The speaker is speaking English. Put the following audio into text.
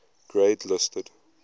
grade listed